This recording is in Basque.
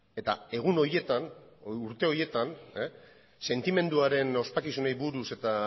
eta egun horietan edo urte horietan sentimenduaren ospakizunei buruz eta